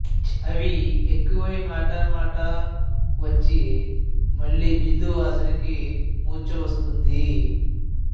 చివరికి అవి ఎక్కువై మాటా మాటా వచ్చి మళ్ళి బిందువాసినికి మూర్చ వస్తుంది